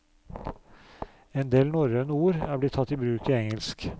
En del norrøne ord er blitt tatt i bruk i engelsk.